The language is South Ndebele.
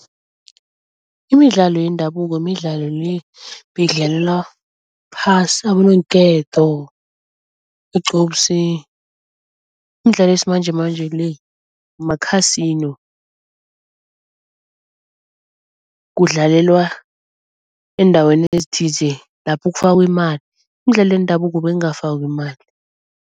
imidlalo yendabuko midlalo le beyidlalelwa phasi, abononketo, igcubsi. Imidlalo yesimanjemanje le ma-casino. Kudlalelwa eendaweni ezithize lapho kufakwa imali, imidlalo yendabuko bengafakwa imali.